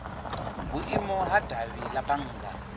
vhuimo ha davhi la bannga